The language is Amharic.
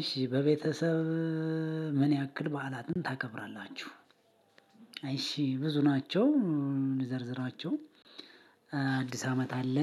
እሽ በቤተሰብ ምን ያክል በዓላትን ታከብራላችሁ? እሺ ብዙ ናቸው። እንዘርዝራቸው አዲስ አመት አለ።